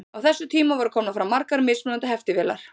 á þessum tíma voru komnar fram margar mismunandi heftivélar